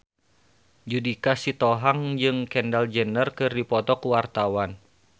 Judika Sitohang jeung Kendall Jenner keur dipoto ku wartawan